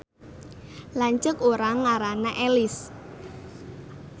Lanceuk urang ngaranna Elis